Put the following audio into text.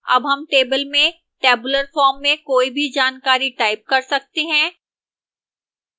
अब हम table में tabular form में कोई भी जानकारी type कर सकते हैं